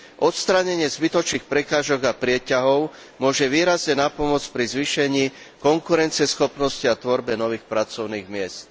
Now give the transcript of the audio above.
Odstránenie zbytočných prekážok a prieťahov môže výrazne napomôcť pri zvýšení konkurencieschopnosti a tvorbe nových pracovných miest.